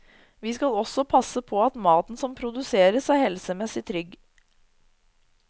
Vi skal også passe på at maten som produseres er helsemessig trygg.